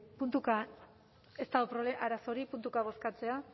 puntuka ez dago arazorik puntuka bozkatzea